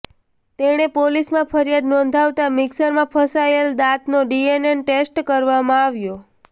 તેણે પોલીસમાં ફરિયાદ નોંધાવતા મિક્સરમાં ફસાયેલ દાંતનો ડીએનએ ટેસ્ટ કરવામાં આવ્યો